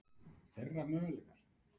Þeirra möguleikar?